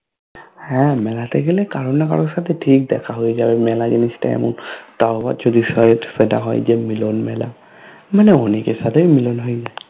হ্যা মেলাতে গেলে কারো না কারো সাথে ঠিক দেখা হয়ে যাবে মেলা জিনিসতা এমন তাও মিলন মেলা । মানে অনেকএর সাথেএ মিলন হয়ে যায়